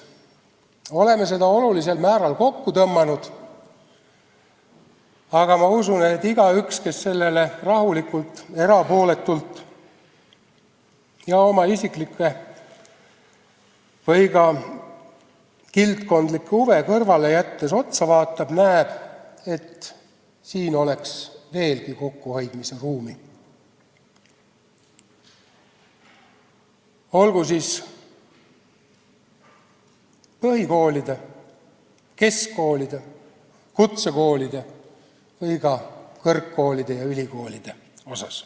Oleme seda olulisel määral kokku tõmmanud, aga ma usun, et igaüks, kes seda rahulikult, erapooletult ja oma isiklikke või ka kildkondlikke huve kõrvale jättes vaatab, näeb, et siin oleks veelgi kokkuhoidmise ruumi, olgu siis põhikoolide, keskkoolide, kutsekoolide või ka kõrgkoolide ja ülikoolide osas.